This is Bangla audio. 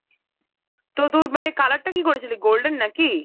তো তোর মানে color টা কী করেছিলি golden নাকি?